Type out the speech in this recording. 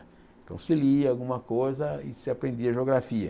Então se lia alguma coisa e se aprendia geografia.